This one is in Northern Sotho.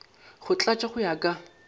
go tlatšwa go ya ka